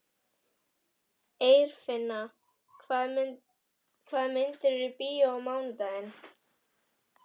Eirfinna, hvaða myndir eru í bíó á mánudaginn?